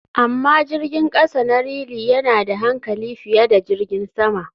Amma jirgin kasa na realy yana da hankali fiye da jirgin sama.